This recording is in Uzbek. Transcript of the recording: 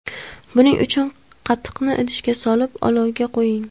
Buning uchun qatiqni idishga solib, olovga qo‘ying.